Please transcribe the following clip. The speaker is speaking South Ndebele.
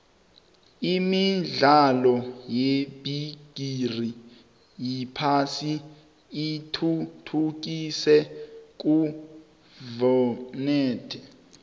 imidlalo yebigixi yephasi ithuthukise khulvumnotho